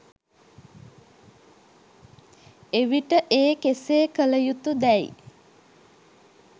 එවිට ඒ කෙසේ කළ යුතු දැයි